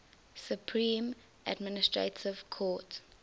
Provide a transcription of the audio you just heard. supreme administrative court